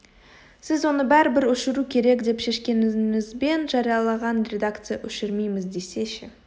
сіз оны бәрібір өшіру керек деп шешкеніңізбен жариялаған редакция өшірмейміз десе ше